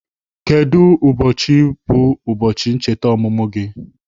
Kedu ụbọchị bụ ụbọchị ncheta ọmụmụ gị?